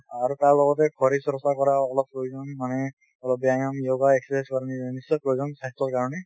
আৰু তাৰ লগতে শৰীৰ চৰ্চা কৰাও অলপ প্ৰয়োজন মানে অলপ ব্যায়াম yoga exercise নিশ্চয় প্ৰয়োজন স্বাস্থ্যৰ কাৰণে